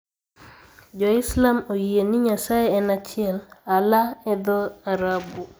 Jo-Islam oyie ni Nyasaye en achiel. Allah e dho-Arabu.